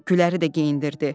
Güləri də geyindirdi.